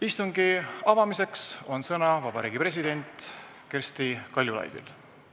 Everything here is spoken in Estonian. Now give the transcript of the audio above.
Istungi avamiseks on sõna Eesti Vabariigi presidendil Kersti Kaljulaidil.